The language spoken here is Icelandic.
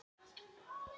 Ragna að gera það gott